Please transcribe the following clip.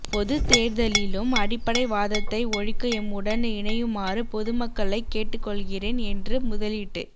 பொதுத் தேர்தலிலும் அடிப்படை வாதத்தை ஒழிக்க எம்முடன் இணையுமாறு பொதுமக்களைக் கேட்டுக்கொள்கிறேன் என்று முதலீட்டு